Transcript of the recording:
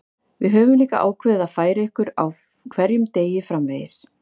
Við höfum líka ákveðið að færa ykkur á hverjum degi framvegis.